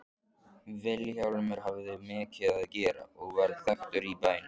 Vilhjálmur hafði mikið að gera og varð þekktur í bænum.